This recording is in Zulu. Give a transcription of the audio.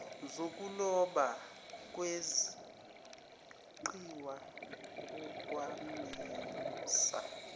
zokuloba kweqiwa onkamisa